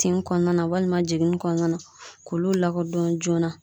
Tin kɔnɔna walima jiginni kɔnɔna na k'olu lakodɔn joona